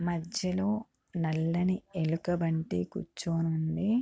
మధ్యలో నల్లని ఎలుగుబంటి కూర్చుని ఉంది